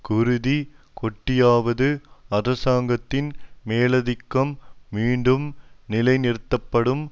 குருதி கொட்டியாவது அரசாங்கத்தின் மேலாதிக்கம் மீண்டும் நிலை நிறுத்தப்படும்